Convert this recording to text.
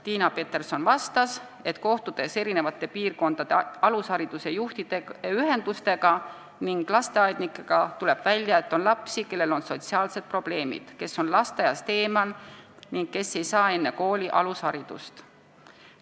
Tiina Peterson vastas, et kohtudes eri piirkondade alushariduse juhtide ühendustega ning lasteaednikega on välja tulnud, et on lapsi, kellel on sotsiaalsed probleemid, kes on lasteaiast eemal ega saa enne kooli alusharidust.